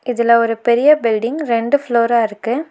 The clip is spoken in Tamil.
இதுல ஒரு பெரிய பில்டிங் இரண்டு ஃப்ளோரா இருக்கு.